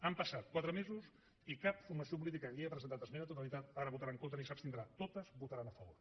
han passat quatre mesos i cap formació política aquí ha presentat esmena a la totalitat ara hi votarà en contra ni s’abstindrà totes hi votaran a favor